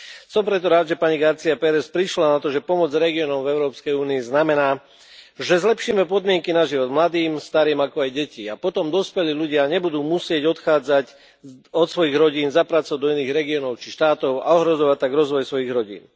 Som preto rád, že pani García Pérez prišla na to, že pomôcť regiónom v Európskej únii znamená, že zlepšíme podmienky na život mladým, starým ako aj detí, a potom dospelí ľudia nebudú musieť odchádzať od svojich rodín za prácou do iných regiónov, či štátov a ohrozovať tak rozvoj svojich rodín.